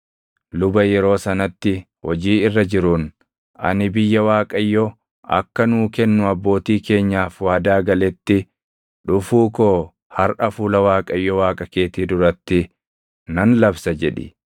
luba yeroo sanatti hojii irra jiruun, “Ani biyya Waaqayyo akka nuu kennu abbootii keenyaaf waadaa galetti dhufuu koo harʼa fuula Waaqayyo Waaqa keetii duratti nan labsa” jedhi.